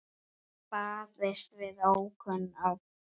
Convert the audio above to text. Barist við ókunn öfl